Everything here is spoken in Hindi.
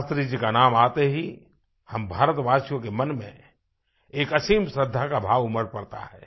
शास्त्री जी का नाम आते ही हम भारतवासियों के मन में एक असीम श्रद्धा का भाव उमड़ पड़ता है